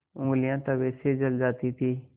ऊँगलियाँ तवे से जल जाती थीं